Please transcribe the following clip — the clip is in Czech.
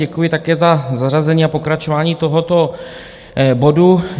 Děkuji také za zařazení a pokračování tohoto bodu.